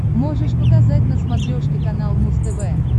можешь показать на смотрешке канал муз тв